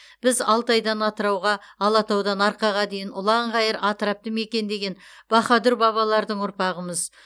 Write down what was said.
біз алтайдан атырауға алатаудан арқаға дейінгі ұлан ғайыр атырапты мекендеген баһадүр бабалардың ұрпағымыз